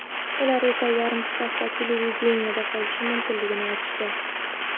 Ular esa yarim stavka televideniyeda qolishim mumkinligini aytishdi.